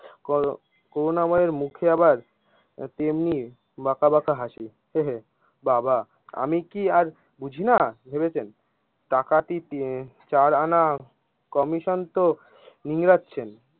Crew করুণাময়ীর মুখে আবার তেমনি বাঁকা বাঁকা হাঁসি। আমি কি আর বুঝিনা ভেবেছেন? টাকা কি তি চার আনা কমিশন তো নিগড়াচ্ছেন।